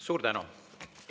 Suur tänu!